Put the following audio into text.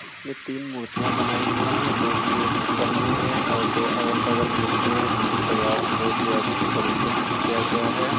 इसमें तीन मूर्तियां बनाई गई है जो कि एक ऊपर में है और दो अगल बगल मूर्तियां है जिनकी सजावटे बहुत ही अच्छी तरीके से किया गया है।